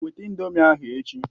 Weta ị̀ndómị́ ahụ echi!